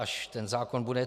Až ten zákon bude.